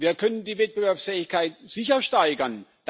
Wir können die Wettbewerbsfähigkeit sicher steigern.